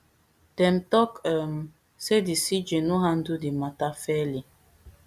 dem tok um say di cj no handle di matter fairly